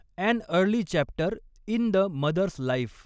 and early chapter in the mother's life